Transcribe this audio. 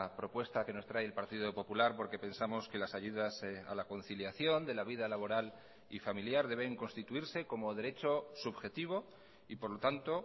propuesta que nos trae el partido popular porque pensamos que las ayudas a la conciliación de la vida laboral y familiar deben constituirse como derecho subjetivo y por lo tanto